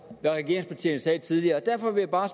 hvad regeringspartierne sagde tidligere derfor vil jeg bare